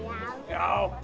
já